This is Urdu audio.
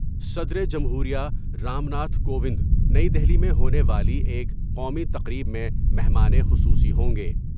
صدر جمہوریہ رام ناتھ کووند نئی دہلی میں ہونے والی ایک قومی تقریب میں مہمان خصوصی ہوں گے۔